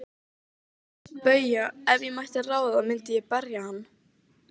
BAUJA: Ef ég mætti ráða myndi ég berja hann.